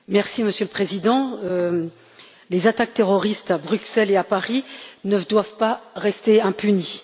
Monsieur le Président, les attaques terroristes à Bruxelles et à Paris ne doivent pas rester impunies.